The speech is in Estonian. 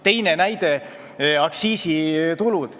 Teine näide on aktsiisitulud.